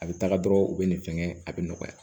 A bɛ taga dɔrɔn u bɛ nin fɛngɛn a bɛ nɔgɔya